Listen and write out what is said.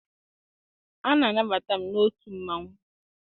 A na-anabata m n'otu mmanwụ.